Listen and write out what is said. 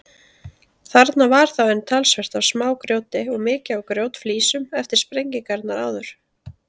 Þarna var þá enn talsvert af smágrjóti og mikið af grjótflísum eftir sprengingarnar áður.